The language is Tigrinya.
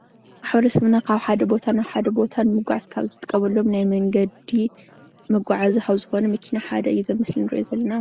ማሕበረሰብና ካብ ሓደ ቦታ ናብ ሓደ ቦታ ንምጓዓዝ ካብ ዝጥቀመሎም ናይ መንገዲ መጓዓዝያ ካብ ዝኮነ መኪና ሓደ እዩ እዚ ኣብ ምስሊ እንሪኦ ዘለና፡፡